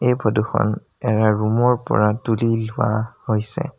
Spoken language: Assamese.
এই ফটো খন এৰা ৰূম ৰ পৰা তুলি লোৱা হৈছে।